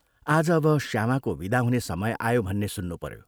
आज अब श्यामाको विदा हुने समय आयो भन्ने सुन्नुपयो।